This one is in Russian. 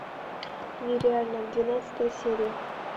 нереально двенадцатая серия